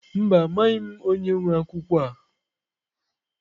Mba, amaghị m onye nwe akwụkwọ a.